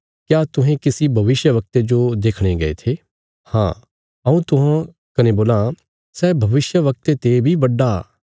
क्या तुहें किसी भविष्यवक्ते जो देखणे गये थे हाँ हऊँ तुहां कने बोलां सै भविष्यवक्ते ते बी बड्डा आ